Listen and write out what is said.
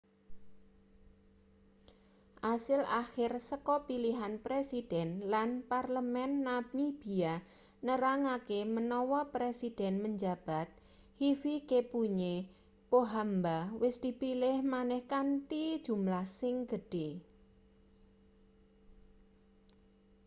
asil akhir saka pilihan presiden lan parlemen namibia nerangake menawa presiden menjabat hifikepunye pohamba wis dipilih maneh kanthi jumlah sing gedhe